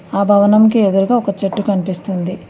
ఆ భవనంకి ఎదురుగా ఒక చెట్టు కనిపిస్తుంది.